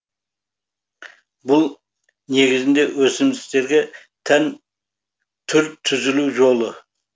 бұл негізінде өсімдіктерге тән түр түзілу жолы